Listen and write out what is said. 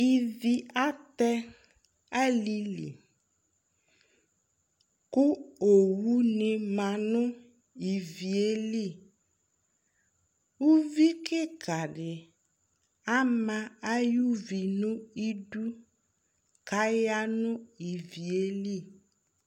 ɩʋɩ atɛ alɩlɩ kʊ owʊ nɩ manʊ ɩʋɩelɩ ʊʋɩ ƙɩƙa dɩ ama ʊʋi nʊ ɩdʊ kʊ ayanʊ ɩʋɩelɩ